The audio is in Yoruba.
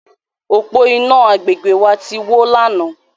Òpó-iná agbègbè wa ti wó lánàá.